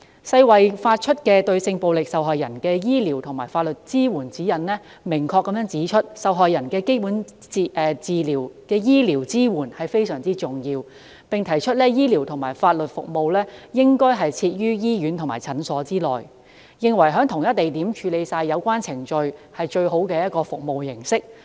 世衞發出的《對性暴力受害人之醫療及法律支援指引》明確指出，對受害人的基本醫療支援非常重要，醫療及法律服務應設於醫院和診所內，而且在同一地點處理所有相關程序是最好的服務模式。